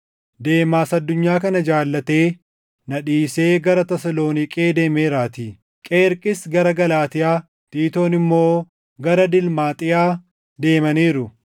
Deemaas addunyaa kana jaallatee na dhiisee gara Tasaloniiqee deemeeraatii. Qeerqis gara Galaatiyaa, Tiitoon immoo gara Dilmaaxiyaa deemaniiru.